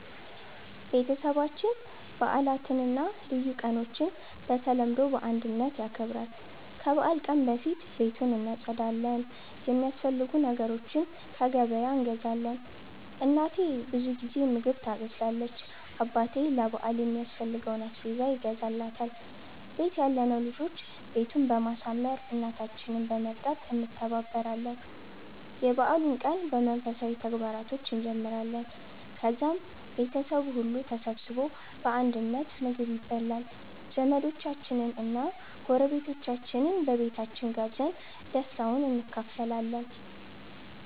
ቤተሰባችን በዓላትን እና ልዩ ቀኖችን በተለምዶ በአንድነት ያከብራል። ከበዓል ቀን በፊት ቤቱን እናጸዳለን፣ የሚያስፈልጉ ነገሮችን ከገበያ እንገዛለን። እናቴ ብዙ ጊዜ ምግብ ታበስላለች፣ አባቴ ለ በአል የሚያስፈልገውን አስቤዛ ይገዛል፣ ቤት ያለነው ልጆች ቤቱን በማሳመር፣ እናታችንን በመርዳት እንተባበራለን። የበዓሉን ቀን በመንፈሳዊ ተግባራቶች እንጀምራለን፣ ከዛም ቤተሰቡ ሁሉ ተሰብስቦ በአንድነት ምግብ ይበላል። ዘመዶቻችንን እና ጎረቤቶቻችንን በቤታችን ጋብዘን ደስታውን እንካፈላለን።